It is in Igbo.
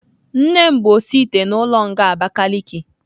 Nnem bu osi ite n'ulo nga Abakiliki